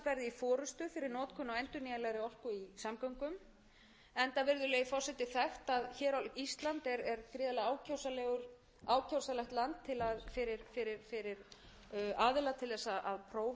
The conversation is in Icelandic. eru í fyrsta lagi ísland verði í forustu við notkun á endurnýjanlegri orku í samgöngum enda virðulegi forseti þekkt að hér á íslandi er gríðarlega ákjósanlegt land fyrir aðila til þess að prófa nýja tækni og annað slíkt vegna